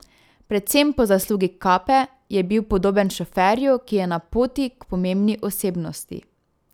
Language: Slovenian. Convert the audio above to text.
Predvsem po zaslugi kape je bil podoben šoferju, ki je na poti k pomembni osebnosti.